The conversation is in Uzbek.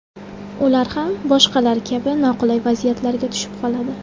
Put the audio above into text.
Ular ham boshqalar kabi noqulay vaziyatlarga tushib qoladi.